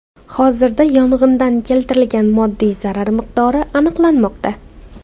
Hozirda yong‘indan keltirilgan moddiy zarar miqdori aniqlanmoqda.